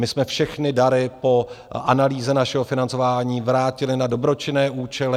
My jsme všechny dary po analýze našeho financování vrátili na dobročinné účely.